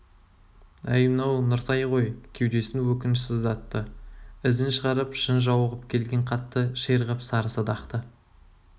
әй мынау нұртай ғой кеудесін өкініш сыздатты ізін шығарып шын жауығып келген қатты ширығып сары садақты